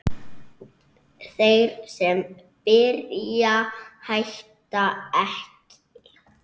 Þeir sem byrja hætta ekki!